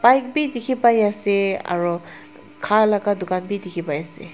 bike bi dikhipaiase aro khalaka dukan bi dikhipaiase.